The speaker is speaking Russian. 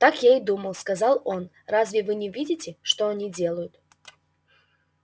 так я и думал сказал он разве вы не видите что они делают